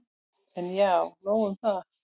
En já, nóg um það.